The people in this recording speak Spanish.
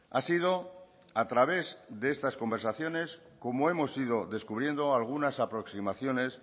ha sido a través de estas conversaciones como hemos ido descubriendo algunas aproximaciones